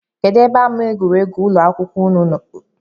Kedụ ebe ama egwuregwu ụlọakwụkwọụnụ dị?